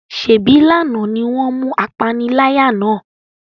Se bí lànà ni wọn mú apániláyà náà?